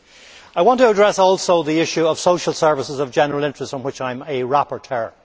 I also want to address the issue of social services of general interest, on which I am a rapporteur.